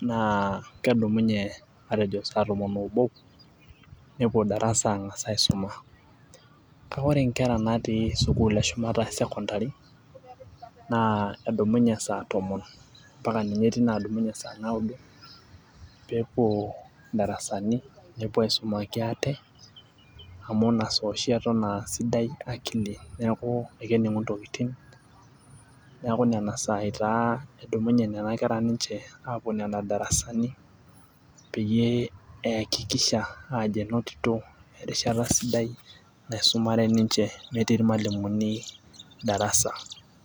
naa kedumunye matejo saa tomon oobo, nepuo darasa ang'asa aisoma. Kake oore inkera natii sukuul eshumata e secondary, naa edumunye saa tomon, mpaka ninye etii naadumunye sa naudo, pee epuo in'darasani nepuo aisumaki aate, amuu iina saa ooshi eton aah sidai akili niaku kening'u intokitin. Niaku nena saai taa edumunye nena kera ninche aapuo nena darasani, peyie eaakikishaaajo kenoto erishata sidai, naisumare ninche metii irmualimuni darasa.